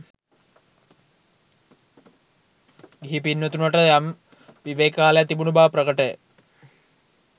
ගිහි පින්වතුනට යම් විවේක කාලයක් තිබුණු බව ප්‍රකටය.